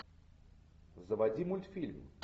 заводи мультфильм